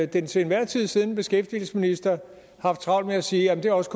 den til enhver tid siddende beskæftigelsesminister haft travlt med at sige at det også